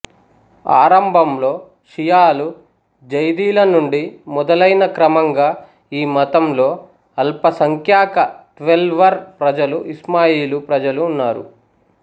ఆరంభంలో షియాలు జైదీల నుండి మొదలైనా క్రమంగా ఈ మతంలో అల్పసంఖ్యాక ట్వెల్వర్ ప్రజలు ఇస్మాయిలీ ప్రజలు ఉన్నారు